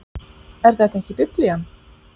Er þetta ekki Biblían?